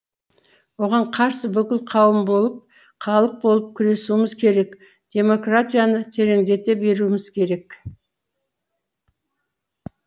оған қарсы бүкіл қауым болып халық болып күресуіміз керек демократияны тереңдете беруіміз керек